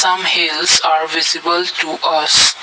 from his are visible to us.